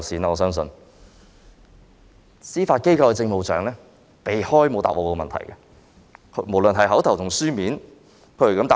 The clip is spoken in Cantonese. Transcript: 至於司法機構政務長，她則避開我的問題，沒有回答。